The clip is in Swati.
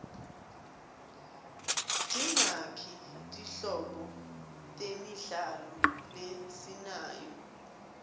tingaki tinhlobo temidlalo lesinayo